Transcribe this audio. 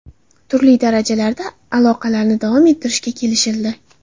Turli darajalarda aloqalarni davom ettirishga kelishildi.